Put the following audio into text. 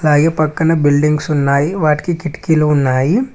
పక్కన బిల్డింగ్స్ ఉన్నాయి వాటికి కిటికీలు ఉన్నాయి.